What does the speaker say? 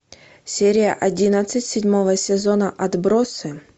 серия одиннадцать седьмого сезона отбросы